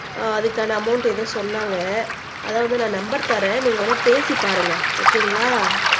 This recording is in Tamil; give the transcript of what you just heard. அதுக்கான அமௌன்ட் ஏதோ சொன்னாங்க அதாவது நான் நம்பர் தரேன் நீங்க வேணா பேசி பாருங்க ஓகேங்களா